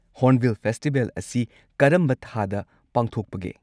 Hornbill festival ꯑꯁꯤ ꯀꯔꯝꯕ ꯊꯥꯗ ꯄꯥꯡꯊꯣꯛꯄꯒꯦ?